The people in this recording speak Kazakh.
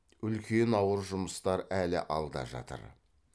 үлкен ауыр жұмыстар әлі алда жатыр